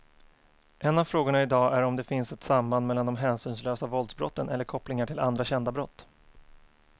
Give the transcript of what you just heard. En av frågorna i dag är om det finns ett samband mellan de hänsynslösa våldsbrotten eller kopplingar till andra kända brott.